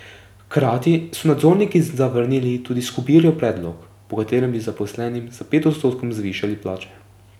Hkrati so nadzorniki zavrnili tudi Skobirjev predlog, po katerem bi zaposlenim za pet odstotkov zvišali plače.